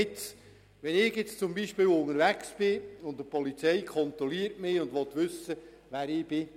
Nehmen wir an, ich sei unterwegs, und die Polizei kontrolliere mich und wolle wissen, wer ich sei.